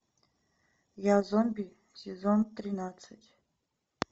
я зомби сезон тринадцать